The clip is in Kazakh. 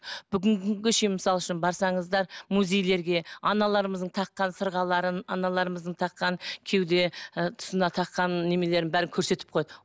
бүгінгі күнге шейін мысал үшін барсаңыздар музейлерге аналарымыздың таққан сырғаларын аналарымыздың таққан кеуде ы тұсына таққан неменелерін бәрін көрсетіп қояды